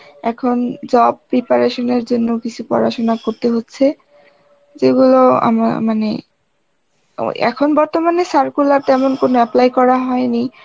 এখন job preparation এর জন্য কিছু পড়াশোনা করতে হচ্ছে, যেগুলো আমার মানে আবার এখন বর্তমানে circular তেমন কোনো apply করা হয় নি